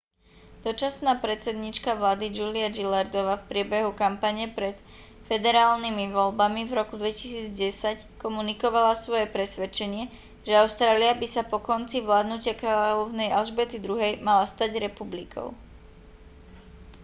dočasná predsedníčka vlády julia gillardová v priebehu kampane pred federálnymi voľbami v roku 2010 komunikovala svoje presvedčenie že austrália by sa po konci vládnutia kráľovnej alžbety ii mala stať republikou